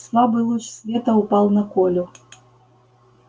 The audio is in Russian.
слабый луч света упал на колю